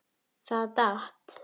Það datt.